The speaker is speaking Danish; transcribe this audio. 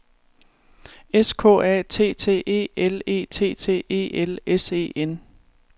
S K A T T E L E T T E L S E N